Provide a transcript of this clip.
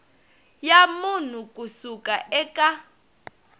ya munhu ku suka eka